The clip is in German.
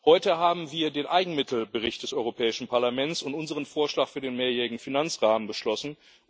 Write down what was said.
Heute haben wir den Eigenmittel Bericht des Europäischen Parlaments und unseren Vorschlag für den mehrjährigen Finanzrahmen beschlossen.